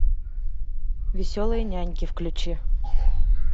веселые няньки включи